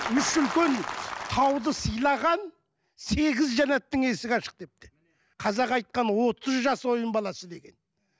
үш үлкен тауды сыйлаған сегіз жәнаттың есігі ашық депті қазақ айтқан отыз жас ойын баласы деген